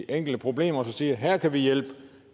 enkelte problemer og siger her kan vi hjælpe